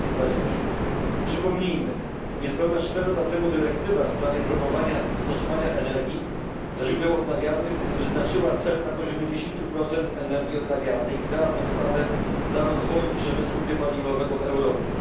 2020. Przypomnijmy, niespełna 4 lata temu dyrektywa w sprawie promowania stosowania energii ze źródeł odnawialnych wyznaczyła cel na poziomie 10 energii odnawialnej i stała się bodźcem dla rozwoju przemysłu biopaliwowego w Europie.